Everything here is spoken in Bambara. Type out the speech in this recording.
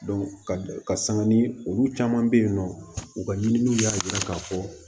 ka ka sanga ni olu caman be yen nɔ u ka ɲininiw y'a yira k'a fɔ